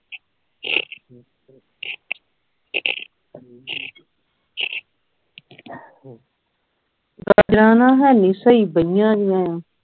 ਗਾਜਰ ਹੈਂ ਨਹੀਂ ਸਹੀ ਬਈਆ ਨੇ